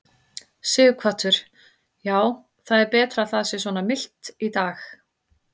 Sighvatur: Já, það er betra að það sé svona milt í dag?